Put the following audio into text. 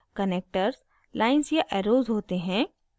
connectors lines या arrows होते हैं